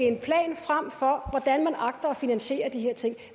en plan frem for hvordan man agter at finansiere de her ting